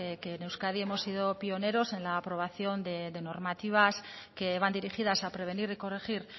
que en euskadi hemos sido pioneros en la aprobación de normativas que van dirigidas a prevenir y corregir